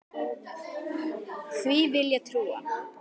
Því vill ég trúa.